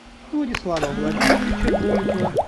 владислава владимировича голикова